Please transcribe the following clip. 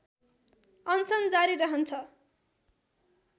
अनसन जारी रहन्छ